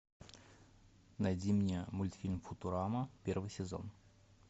найди мне мультфильм футурама первый сезон